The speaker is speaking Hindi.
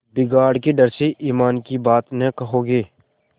बिगाड़ के डर से ईमान की बात न कहोगे